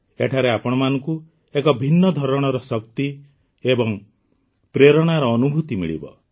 ଏଠାରେ ଆପଣମାନଙ୍କୁ ଏକ ଭିନ୍ନ ଧରଣର ଶକ୍ତି ଏବଂ ପ୍ରେରଣାର ଅନୁଭୂତି ମିଳିବ